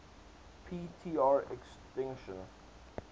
p tr extinction